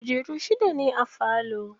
Kujeru shida ne a falo.